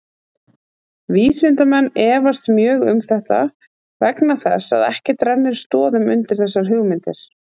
Vísindamenn efast mjög um þetta vegna þess að ekkert rennir stoðum undir þessar hugmyndir.